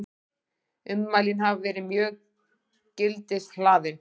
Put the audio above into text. Ummælin hafi verið mjög gildishlaðin